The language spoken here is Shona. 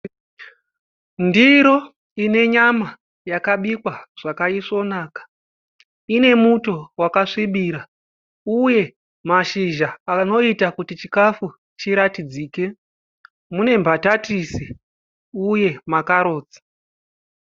Ndiro inenyama yakabikwa zvakaisvonaka ine muto wakasvibira uye mashizha anoita kuti chikafu chiratidzike munembatatisi uye makarotsi.